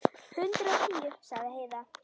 Hundrað og tíu, sagði Heiða.